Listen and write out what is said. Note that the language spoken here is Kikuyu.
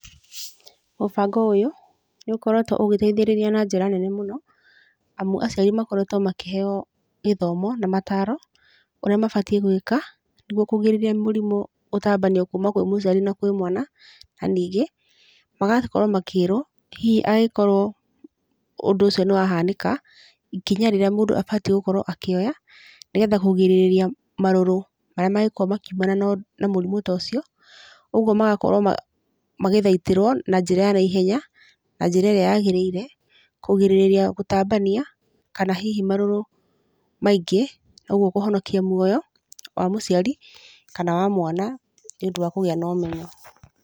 Mũbango ũyũ, nĩũkoretũo ũgĩteithĩrĩria na njĩra nene mũno, amu aciari makoretũo makĩheo gĩthomo na mataro, ũrĩa mabatiĩ gwĩka, nĩguo kũgirĩrĩria mũrimũ gũtambanio kuma kwĩ mũciari na kwĩ mwana, naningĩ, magakorũo makĩrũo, hihi angĩkorũo ũndũ ũcio nĩwahanĩka, ikinya rĩrĩa mũndũ abatiĩ gũkorũo akĩoya, nĩgetha kũgirĩrĩria marũrũ marĩa mangĩkorũo makiumana ũ, mũrimũ ta ũcio, ũguo magakorũo mag, magĩthaitĩrũo, na njĩra ya naihenya, na njĩra ĩrĩa yagĩrĩire, kũgirĩrĩria gũtambania, kana hihi marũrũ maingĩ, ũguo kũhonokia muoyo, wa mũciari, kana wa mwana, nĩũndũ wa kũgĩa na ũmenyo.